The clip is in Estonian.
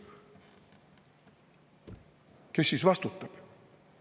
Kes siis vastutab?